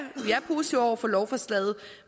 positive over for lovforslaget